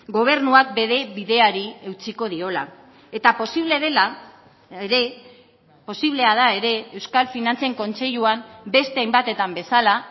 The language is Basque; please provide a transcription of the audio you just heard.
gobernuak bere bideari eutsiko diola eta posible dela ere posiblea da ere euskal finantzen kontseiluan beste hainbatetan bezala